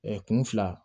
kun fila